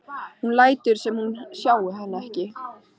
Hún lætur sem hún sjái hann ekki.